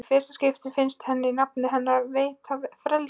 Í fyrsta skipti finnst henni nafnið hennar veita frelsi.